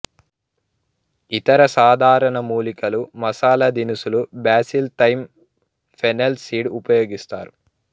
ఇతర సాధారణ మూలికలు మసాలా దినుసులు బాసిల్ థైమ్ ఫెన్నెల్ సీడ్ ఉపయోగిస్తారు